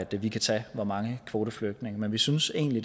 vi kan tage hvor mange kvoteflygtninge men vi synes egentlig